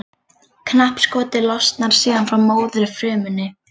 Knappskotið losnar síðan frá móðurfrumunni.